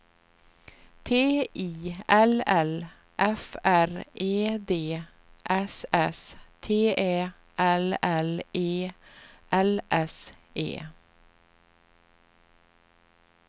T I L L F R E D S S T Ä L L E L S E